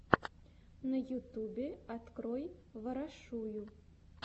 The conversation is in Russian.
на ютьюбе открой ворошую